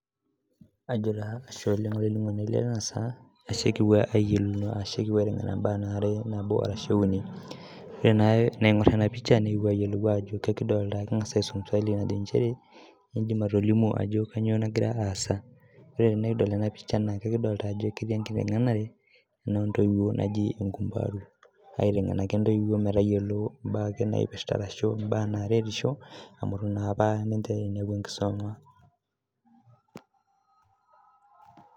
Ajo taa ashe olainining'oni lai tenasaa, ashe kipuo ayiolouno ashe kipuo aiteng'ena imbaa nabo are ashu uni. Ore enaa enaing'or enapisha, nikipuo ayiolou ajo kekidoolta king'asa aisum swali najo njere, idim atolimu ajo kanyioo nagira aasa. Ore tenikidol enapisha, naa kekidolta ajo ketii enkiteng'enare, enoo ntoiwuo naji enkumbaru. Aiteng'en ake ntoiwuo metayiolo imbaa ake naipirta arashu imbaa naretisho, amu itu naapa ninche inepu enkisoma.